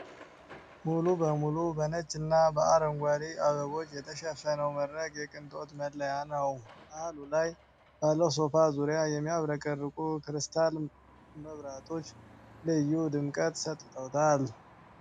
ሙሉ በሙሉ በነጭና በአረንጓዴ አበቦች የተሸፈነው መድረክ የቅንጦት መለያ ነው። መሃሉ ላይ ባለው ሶፋ ዙሪያ፤ የሚያብረቀርቁ ክሪስታል መብራቶች ልዩ ድምቀት ሰጥተዋል።